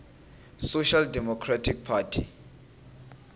social democratic party